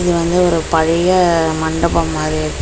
இது வந்து ஒரு பழைய மண்டபம் மாரி இருக்கு.